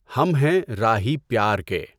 ہم ہیں راہی پیار کے